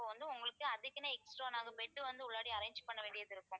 வந்து உங்களுக்கு அதுக்குன்னு extra நாங்க bed வந்து உள்ளாடி arrange பண்ண வேண்டியது இருக்கும்